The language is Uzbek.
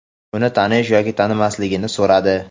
uni tanish yoki tanimasligini so‘radi.